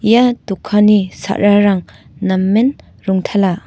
ia dokanni sa·rarang namen rongtala.